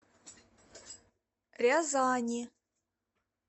рязани